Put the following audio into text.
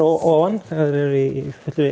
ofan þegar þeir eru í